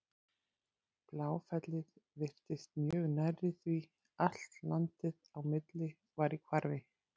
Bláfellið virtist mjög nærri því allt landið á milli var í hvarfi.